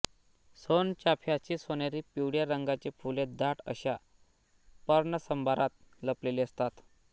सोनचाफ्याची सोनेरी पिवळ्या रंगाची फुले दाट अशा पर्णसंभारात लपलेली असतात